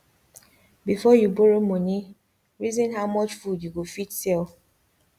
before you borrow moni reason how much food you go fit sell